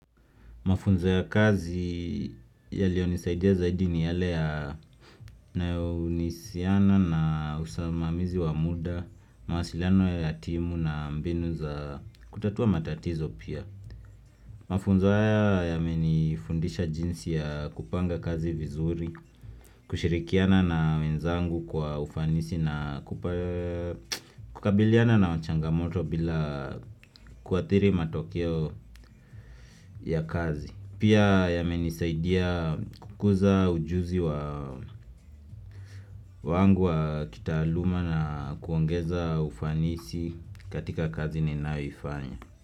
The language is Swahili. Mafunzo ya kazi yaliyonisaidia zaidi ni yale ya yanayohusiana na usimamizi wa muda, mawasiliano ya ya timu na mbinu za kutatua matatizo pia. Mafunzo haya yamenifundisha jinsi ya kupanga kazi vizuri, kushirikiana na wenzangu kwa ufanisi na kukabiliana na wachangamoto bila kuathiri matokeo ya kazi. Pia yamenisaidia kukuza ujuzi wa wangu wa kitaaluma na kuongeza ufanisi katika kazi ninayoifanya.